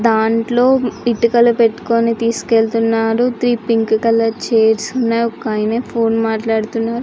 దాంట్లో ఇటుకులు పెట్టుకొని తీసుకువెళ్తున్నారు త్రి పింక్ కలర్ చైర్స్ ఉన్నాయ్ ఒక ఆయన ఫోన్ మాటలాడుతున్నారు --